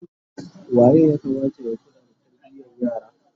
waye ya Kamata ya kula da tarbiyan yara?